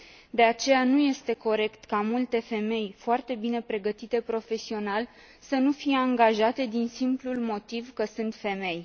De aceea, nu este corect ca multe femei foarte bine pregătite profesional să nu fie angajate din simplul motiv că sunt femei.